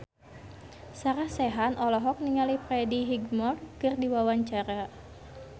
Sarah Sechan olohok ningali Freddie Highmore keur diwawancara